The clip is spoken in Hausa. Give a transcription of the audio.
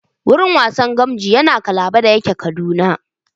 Gurin wasan gamji yana Kabala da yake Kaduna